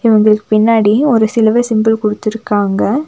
இவங்களுக்கு பின்னாடி ஒரு சிலுவ சிம்பல் குடுத்துருக்காங்க.